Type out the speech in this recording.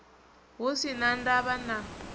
hu si na ndavha na